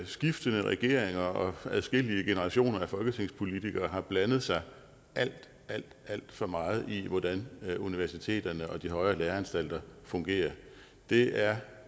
skiftende regeringer og adskillige generationer af folketingspolitikere har blandet sig alt alt for meget i hvordan universiteterne og de højere læreanstalter fungerer det er